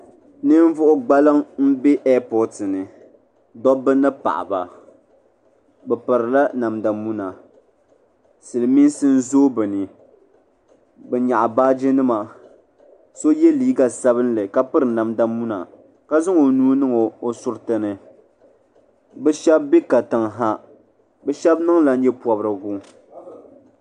Ninvuɣu gbaliŋ n be epooti ni dobba ni paɣaba bɛ pirila namda muna silimiinsi n zooi bɛ ni bɛ nyaɣi baagi nima so ye liiga sabinli ka piri ka piri namda muna ka zaŋ o nuu niŋ o suriti ni bɛ Sheba be katiŋ ha bɛ shɛba niŋla nyɛ pobrigu.